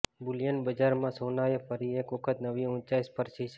Boolean બજારમાં સોનાએ ફરી એક વખત નવી ઊંચાઈ સ્પર્શી છે